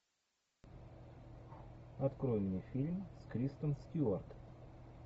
открой мне фильм с кристен стюарт